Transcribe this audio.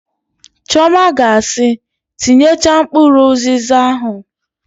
Chiọma ga asị, "tinyechaa mkpụrụ ụzịza ahụ"!